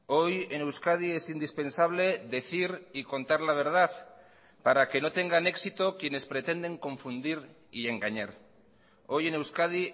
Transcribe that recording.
hoy en euskadi es indispensable decir y contar la verdad para que no tengan éxito quienes pretenden confundir y engañar hoy en euskadi